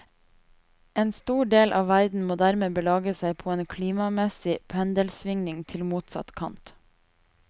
En stor del av verden må dermed belage seg på en klimamessig pendelsvingning til motsatt kant.